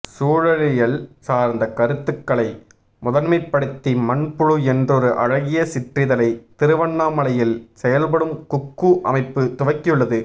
சூழலியல் சார்ந்த கருத்துகளை முதன்மைப்படுத்தி மண்புழு என்றொரு அழகிய சிற்றிதழை திருவண்ணாமலையில் செயல்படும் குக்கூ அமைப்பு துவக்கியுள்ளது